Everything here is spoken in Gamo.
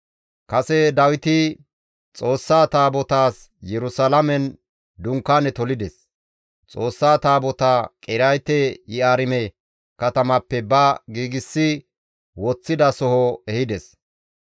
Kase Dawiti Xoossaa Taabotaas Yerusalaamen dunkaane tolides; Xoossaa Taabotaa Qiriyaate-Yi7aarime katamappe ba giigsi woththida soho ehides.